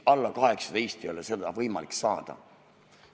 Alla 18 ei ole seda võimalik saada.